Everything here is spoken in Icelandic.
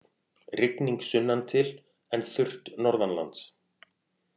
Rigning sunnantil en þurrt norðanlands